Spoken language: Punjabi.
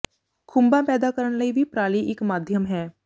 ਖੁੰਬਾਂ ਪੈਦਾ ਕਰਨ ਲਈ ਵੀ ਪਰਾਲੀ ਇਕ ਮਾਧਿਅਮ ਹੈੇ